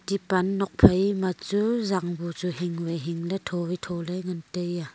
epan nok phai ma chu jan buchu hing hingdat chuwai chule ngan taiya.